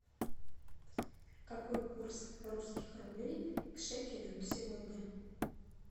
какой курс русских рублей к шекелю сегодня